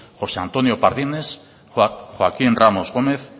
josé antonio pardines joaquín ramos gómez